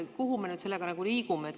Kuhu me sellega liigume?